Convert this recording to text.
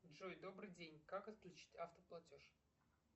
джой добрый день как отключить автоплатеж